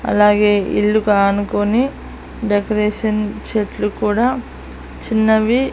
అలాగే ఇల్లుకానుకొని డెకరేషన్ చెట్లు కూడా చిన్నవి--